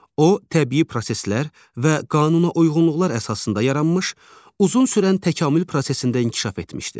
O təbii proseslər və qanunauyğunluqlar əsasında yaranmış, uzun sürən təkamül prosesində inkişaf etmişdir.